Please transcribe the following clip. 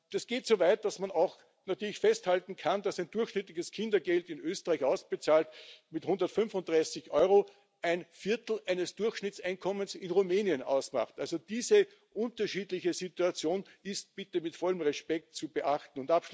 Das geht so weit, dass man festhalten kann, dass ein durchschnittliches Kindergeld in Österreich, ausbezahlt mit 135 Euro, ein Viertel eines Durchschnittseinkommens in Rumänien ausmacht. Also diese unterschiedliche Situation ist bitte mit vollen Respekt zu beachten.